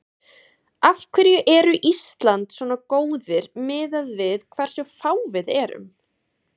Af hverju eru Ísland svona góðir miðað við hversu fá við erum?